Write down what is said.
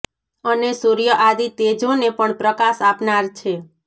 અને સૂર્ય આદિ તેજો ને પણ પ્રકાશ આપનાર છે